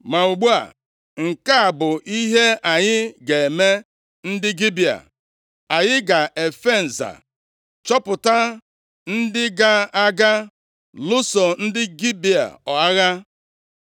Ma ugbu a, nke a bụ ihe anyị ga-eme ndị Gibea. Anyị ga-efe nza chọpụta ndị ga-aga lụso ndị Gibea agha.